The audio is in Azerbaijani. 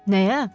Nəyə?